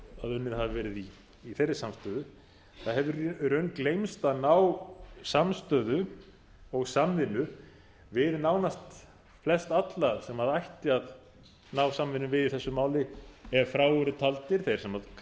á að unnið hafi verið í þeirri samstöðu það hefur í raun gleymst að ná samstöðu og samvinnu við nánast flestalla sem ætti að ná samvinnu við í þessu máli ef frá eru taldir sem kallaðir